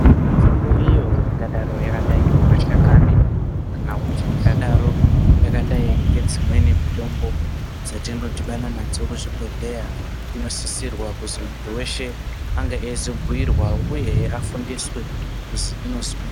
Mitombo iyo ingadaro yakadai ngemashakana kana kuti ingadaro yakadai ngedzimweni mitombo dzetinodhibana nadzo kuzvibhodhleya inosisirwa kuzi muntu wese ange achizobhuyirwa uyehe afundiswe kuzi inozwini.